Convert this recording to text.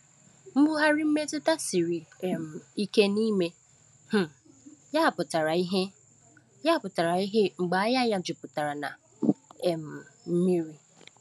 Mbugharị mmetụta siri um ike n’ime um ya pụtara ìhè ya pụtara ìhè mgbe anya ya juputara na um mmiri.